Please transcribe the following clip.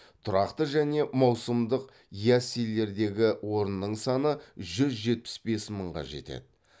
тұрақты және маусымдық яслилердегі орынның саны жүз жетпіс бес мыңға жетеді